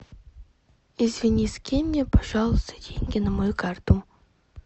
извини скинь мне пожалуйста деньги на мою карту